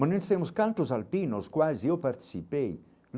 Mas nós temos cantos alpinos, quase eu participei.